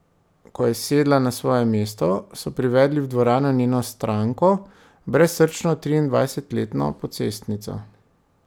Ko je sedla na svoje mesto, so privedli v dvorano njeno stranko, brezsrčno triindvajsetletno pocestnico.